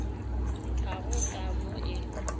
ga go ka mo e